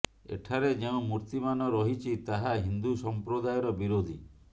ଏଠାରେ ଯେଉଁ ମୂର୍ତ୍ତିମାନ ରହିଛି ତାହା ହିନ୍ଦୁ ସମ୍ପ୍ରଦାୟର ବିରୋଧୀ